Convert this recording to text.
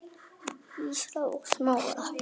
Írisar og Smára.